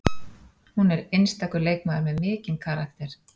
Hún er einstakur leikmaður með mikinn karakter